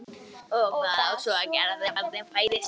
Og hvað á svo að gera þegar barnið fæðist?